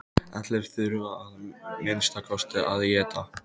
Allir þurfa að minnsta kosti að éta.